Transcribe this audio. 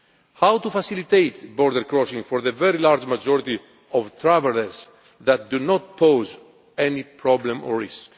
How can we facilitate border crossings for the very large majority of travellers who do not pose any problem or